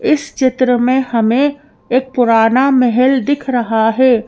इस चित्र में हमें एक पुराना महल दिख रहा है।